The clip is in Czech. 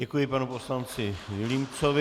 Děkuji panu poslanci Vilímcovi.